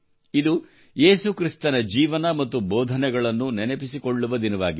ಇದು ಯೇಸುಕ್ರಿಸ್ತನ ಜೀವನ ಮತ್ತು ಬೋಧನೆಗಳನ್ನು ನೆನಪಿಸಿಕೊಳ್ಳುವ ದಿನವಾಗಿದೆ